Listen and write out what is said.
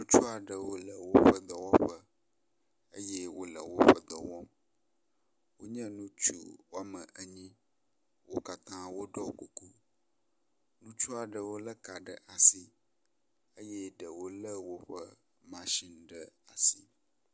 Ŋutsu aɖewo le woƒe dɔwɔƒe eye wole woƒe dɔ wɔm. Wonye ŋutsu wome enyi. Wo katã woɖɔ kuku. Ŋutsu aɖewo lé ka ɖe asi eye ɖewo lé woƒe mashini ɖe asi.